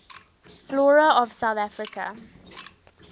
flora of south africa